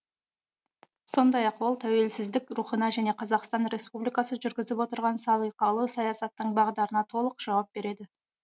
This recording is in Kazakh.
сондай ақ ол тәуелсіздік рухына және қазақстан республикасы жүргізіп отырған салиқалы саясаттың бағдарына толық жауап береді